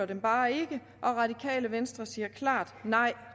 dem bare ikke og radikale venstre siger klart nej